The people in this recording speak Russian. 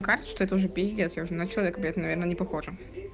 кажется что это уже пиздец я уже на человека наверное не похожа